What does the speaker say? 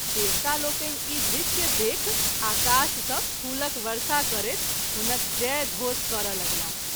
देवता लोकनि ई दृश्य देखि आकाश सँ फूलक वर्षा करैत हुनक जय घोष करय लगलाह।